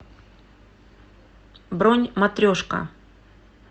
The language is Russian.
бронь матрешка